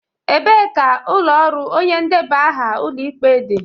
Ebee ka ụlọ ọrụ onye ndebe aha Ụlọikpe dị?